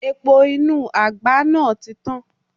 Epo inú àgbá náà ti tán.